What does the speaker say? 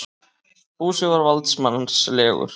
Fúsi var valdsmannslegur.